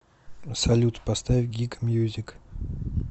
салют поставь гик мьюзик